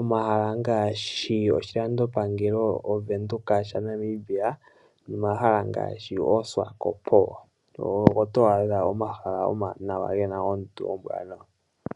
Omahala ngaashi oshilandopangelo, Ovenduka sha Namibia. Omahala ngaashi oSwakopo ogo to adha omahala omawanawa ge na oondundu oombwaanawa.